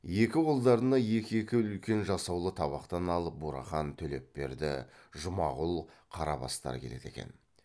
екі қолдарына екі екі үлкен жасаулы табақтан алып бурахан төлепберді жұмағұл қарабастар келеді екен